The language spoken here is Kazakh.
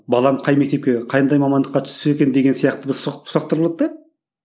балам қай мектепке қандай мамандыққа түссе екен деген сияқты бір сұрақ сұрақтар болады да